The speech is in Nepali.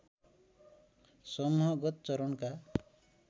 समूहगत चरणका